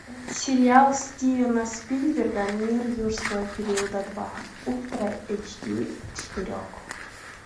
сериал стивена спилберга мир юрского периода два ультра эйч ди четыре к